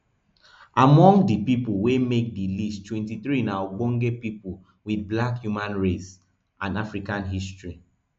among di pipo wey make di list twenty-three na ogbonge pipo wit black human race and african history